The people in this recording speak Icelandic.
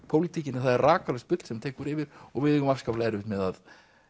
pólitíkinni að það er rakalaust bull sem tekur yfir og við eigum afskaplega erfitt með að